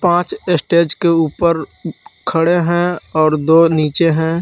पांच स्टेज के ऊपर खड़े हैं और दो नीचे हैं।